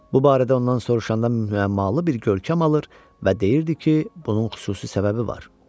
Bu barədə ondan soruşanda müəmmalı bir görkəm alır və deyirdi ki, bunun xüsusi səbəbi var.